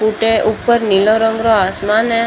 उठ ऊपर नीला रंग रो आसमान है।